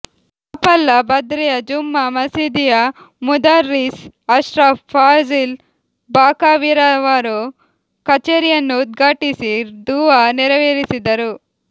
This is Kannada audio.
ಚಾಪಲ್ಲ ಬದ್ರಿಯಾ ಜುಮ್ಮಾ ಮಸೀದಿಯ ಮುದರ್ರಿಸ್ ಅಶ್ರಫ್ ಫಾಝಿಲ್ ಬಾಖವಿರವರು ಕಛೇರಿಯನ್ನು ಉದ್ಘಾಟಿಸಿ ದುವಾ ನೆರವೇರಿಸಿದರು